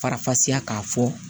Farafasiya k'a fɔ